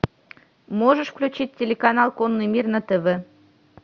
можешь включить телеканал конный мир на тв